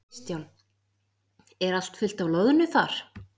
Kristján: Er allt fullt af loðnu þar?